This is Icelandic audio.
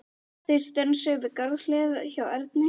Þeir stönsuðu við garðshliðið hjá Erni.